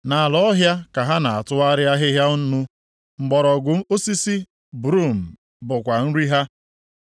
Nʼala ọhịa ka ha na-atụrị ahịhịa nnu, mgbọrọgwụ osisi brum bụkwa nri ha.